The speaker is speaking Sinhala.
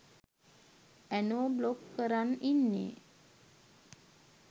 ඇනෝ බ්ලොක් කරන් ඉන්නෙ